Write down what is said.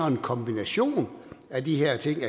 en kombination af de her ting